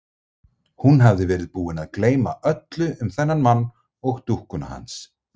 Hún hafði verið búin að gleyma öllu um þennan mann og dúkkuna hans.